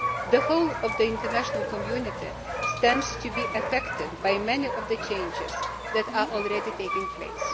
The whole of the international community stands to be affected by many of the changes that are already taking place.